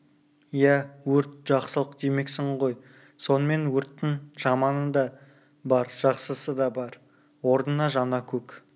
ия өрт жақсылық демексің ғой сонымен өрттің жаманы да бар жақсысы да бар орнына жаңа көк